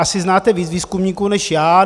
Asi znáte víc výzkumníků než já.